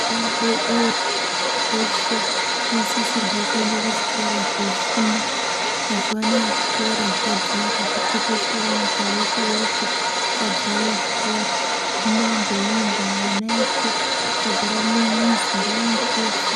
Ana adodori eshe anosisirwe kuenda kuchikora kofunda mazuwa anaya zvikora zvadzara zvatekeshera nyika yeshe yeshe kwadzara zvikora hino ngeiyi nda ana eshe akagara mumizi ngaende kofunda.